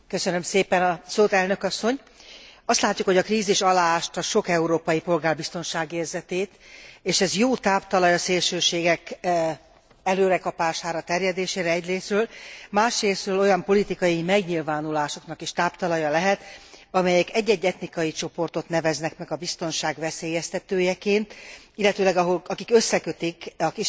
Azt látjuk, hogy a krízis aláásta sok európai polgár biztonságérzetét, és ez jó táptalaj a szélsőségek erőre kapására, terjedésére egyrészről, másrészről olyan politikai megnyilvánulásoknak is táptalaja lehet, amelyek egy egy etnikai csoportot neveznek meg a biztonság veszélyeztetőjeként, illetőleg akik összekötik a kisebbségeket, migránsokat a bűnözéssel.